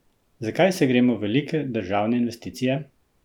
Zakaj se gremo velike državne investicije?